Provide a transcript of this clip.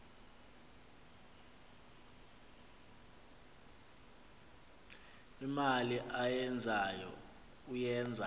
imali ayenzayo uyenza